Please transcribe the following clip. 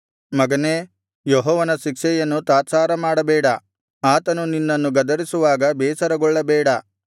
ಮಗನೇ ಯೆಹೋವನ ಶಿಕ್ಷೆಯನ್ನು ತಾತ್ಸಾರ ಮಾಡಬೇಡ ಆತನು ನಿನ್ನನ್ನು ಗದರಿಸುವಾಗ ಬೇಸರಗೊಳ್ಳಬೇಡ